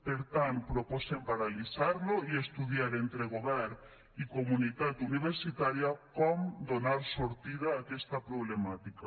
per tant proposem paralitzar lo i estudiar entre govern i comunitat universitària com donar sortida a aquesta problemàtica